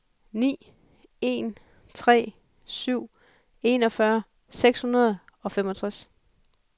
ni en tre syv enogfyrre seks hundrede og femogtres